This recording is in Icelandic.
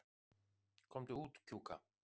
Komdu út, Kjúka.